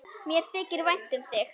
Mér þykir vænt um þig.